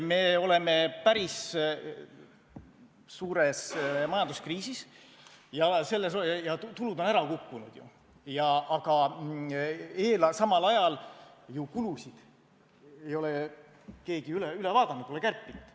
Me oleme päris suures majanduskriisis ja tulud on ju ära kukkunud, aga samal ajal ei ole kulusid ka keegi üle vaadanud ega kärpinud.